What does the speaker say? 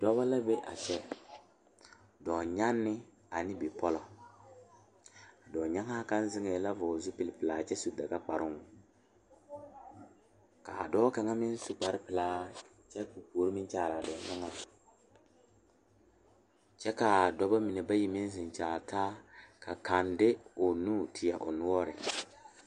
Dɔɔba banuu a zɔŋ a a kuriwiire kaŋa eɛ ziɛ kyɛ taa peɛle kaa kuriwiire mine e sɔglɔ kyɛ ka konkobile fare a kuriwiire poɔ a e doɔre.